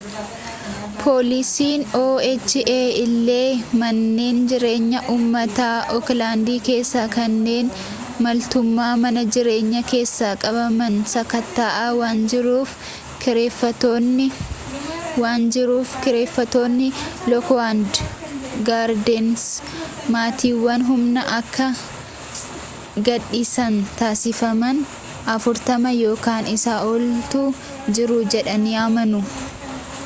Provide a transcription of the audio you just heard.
poolisiin oha illee manneen jireenyaa uummataa ooklaandi keessaa kanneen maltummaa mana jireenyaa keessa qabaman sakatta'aa waan jiruuf kireeffattoonni lookwud gaardeensi maatiiwwan humnaan akka gadhiisan taasifaman 40 ykn isaa oltu jiru jedhanii amanu